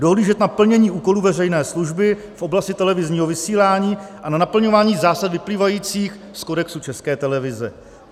dohlížet na plnění úkolů veřejné služby v oblasti televizních vysílání a na naplňování zásad vyplývajících z Kodexu České televize;